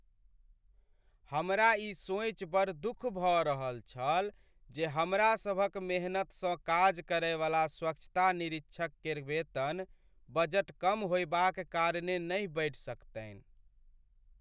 हमरा ई सोचि बड़ दुख भऽ रहल छल जे हमरा सभक मेहनतसँ काज करैवला स्वच्छता निरीक्षक केर वेतन बजट कम होयबाक कारणे नहि बढ़ि सकतनि।